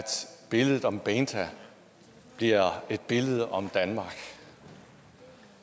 beinta bliver et billede om danmark